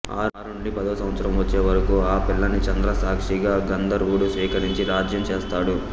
ఆరు నుండి పదో సంవత్సరం వచ్చే వరకూ ఆ పిల్లని చంద్రసాక్షిగా గంధర్వుడు స్వీకరించి రాజ్యం చేస్తాడు